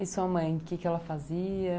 E sua mãe, o que que ela fazia?